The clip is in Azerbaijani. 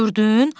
Gördün?